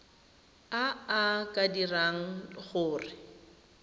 a a ka dirang gore